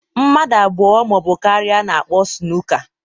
Mmadụ abụọ ma ọ bụ karịa na-akpọ sunuka